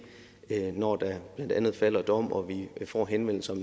når der blandt andet falder dom og vi får henvendelser